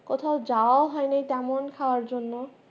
কোথাও যাওয়াও হয়নি তেমন খাওয়ার জন্য